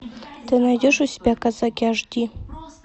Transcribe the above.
ты найдешь у себя казаки аш ди